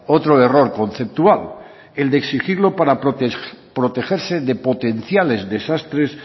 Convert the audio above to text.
otro error conceptual el exigirlo para protegerse de potenciales desastres